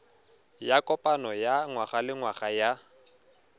ya kopano ya ngwagalengwaga ya